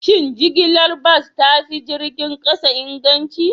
Shin jigilar bas ta fi jirgin kasa inganci?